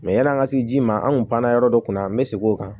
yan'an ka se ji ma an kun panna yɔrɔ dɔ kunna an bɛ segin o kan